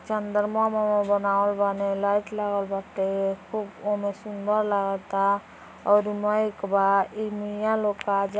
चन्द्रमाँ मामा बनावल बाने लाईट लागल बाटे खूब वोमे लागता और मैक बा इ मिया लोग क --